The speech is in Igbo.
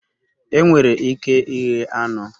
Enwere ike ighe anụ